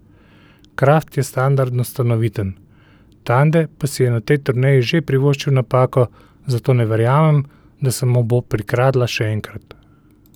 Kraft je standardno stanoviten, Tande pa si je na tej turneji že privoščil napako, zato ne verjamem, da se mu bo prikradla še enkrat.